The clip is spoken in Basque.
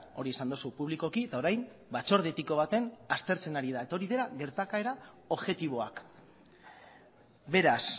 hori esan duzu publikoki eta orain batzorde etiko baten aztertzen ari da eta hori dela gertakaera objektiboak beraz